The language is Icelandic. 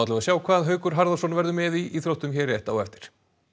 við sjá hvað Haukur Harðarson verður með í íþróttum hér rétt á eftir